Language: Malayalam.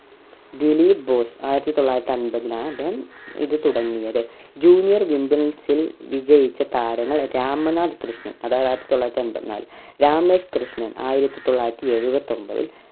ദിലീപ് ബോസ് ആയിരത്തി തൊള്ളായിരത്തി അമ്പതിലാണ് അദ്ദേഹം ഇത് തുടങ്ങിയത് junior wimbles ഇൽ വിജയിച്ച താരങ്ങൾകെ രാമനാഥ്‌ കൃഷ്‌ണൻ അതാത് ആയിരത്തി എൺപത്തി നാലിൽ രാമേഷ് കൃഷ്‌ണൻ ആയിരത്തി തൊള്ളായിരത്തി എഴുപത്തി ഒമ്പതിൽ